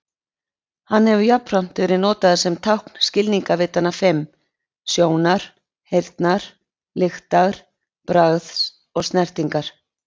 Hann hefur jafnframt verið notaður sem tákn skilningarvitanna fimm: Sjónar, heyrnar, lyktar, bragðs og snertingar.